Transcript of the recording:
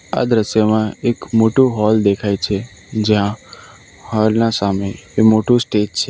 આ દ્રશ્યમાં એક મોટું હૉલ દેખાય છે જ્યાં હૉલ ના સામે એ મોટું સ્ટેજ છે.